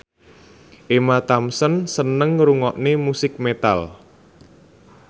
Emma Thompson seneng ngrungokne musik metal